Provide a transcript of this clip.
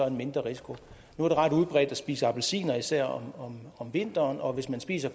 mindre risiko nu er det ret udbredt at spise appelsiner især om vinteren og hvis man spiser